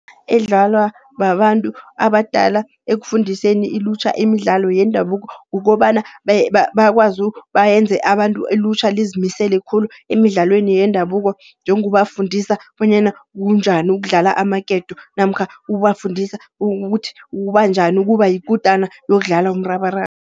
Edlalwa babantu abadala, ekufundiseni ilutjha imidlalo yendabuko kukobana bakwazi bayenze abantu, ilutjha lizimisele khulu emidlalweni yendabuko. Njengobafundisa bonyana kunjani ukudlala amaketo namkha ukubafundisa ukuthi kunjani ukuba yikutana yokudlala umrabaraba.